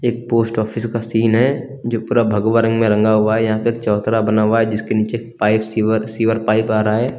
Post office का scene है जो पूरा भगवा रंग में रंगा हुआ है यहाँ पे एक चबूतरा बना हुआ है जिसके नीचे पाइप सीवर सीवर पाइप आ रहा है।